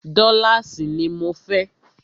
Dọ́láàsì ní mọ fẹ́!